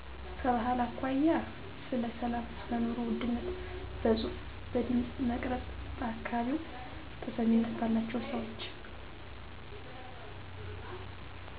ከባህል አኮያ ስለ ሰላም ሰለኑሮ ውድነት በጽሁፍ በድምጽ መቅረጽ በአካባቢው ተሰሚነት ባላቸው ሰወች